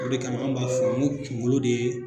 O de kama anw b'a fɔ ŋo kuŋolo de